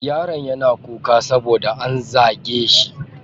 Yaron yana kuka saboda an zage shi.